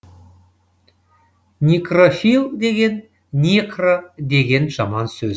некрофил деген некро деген жаман сөз